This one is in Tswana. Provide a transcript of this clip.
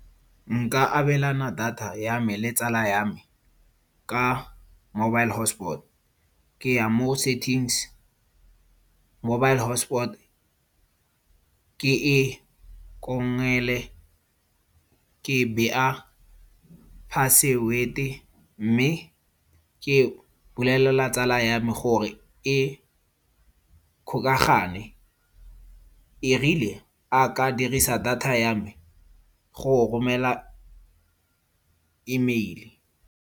Nka abelana data ya me le tsala ya me ka mobile hotspot. Ke ya mo settings, mobile hotspot ke e kongele, ke bea password-e mme ke bolelela tsala ya me gore e kgokagane. Erile a ka dirisa data ya me go romela emeili.